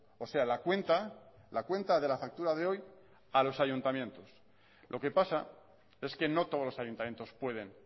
o sea la cuenta la cuenta de la factura de hoy a los ayuntamientos lo que pasa es que no todos los ayuntamientos pueden